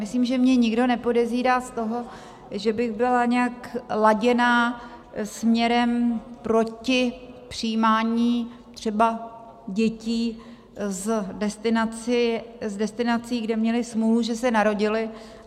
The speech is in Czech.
Myslím, že mě nikdo nepodezírá z toho, že bych byla nějak laděná směrem proti přijímání třeba dětí z destinací, kde měly smůlu, že se narodily.